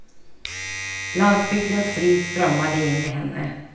Landsbygdens frid strömmade in i henne.